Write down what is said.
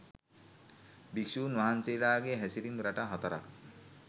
භික්‍ෂූන් වහන්සේලාගේ හැසිරීම් රටා හතරක්